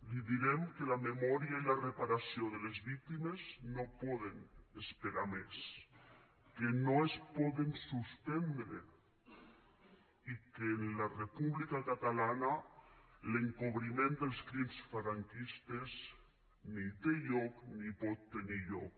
li direm que la memòria i la reparació de les víctimes no poden esperar més que no es poden suspendre i que en la república catalana l’encobriment dels crims franquistes ni té lloc ni pot tenir lloc